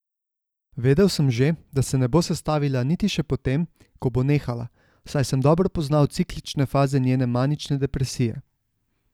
Vedel sem že, da se ne bo sestavila niti še po tem, ko bo nehala, saj sem dobro poznal ciklične faze njene manične depresije.